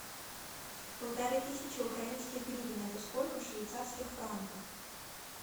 полторы тысячи украинских гривен это сколько в швейцарских франках